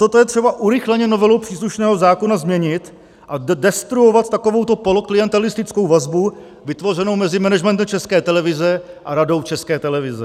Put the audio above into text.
Toto je třeba urychleně novelou příslušného zákona změnit a destruovat takovouto poloklientelistickou vazbu vytvořenou mezi managementem České televize a Radou České televize.